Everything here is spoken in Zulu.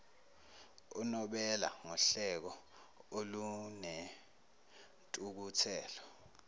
unobela ngohleko olunentukuthelo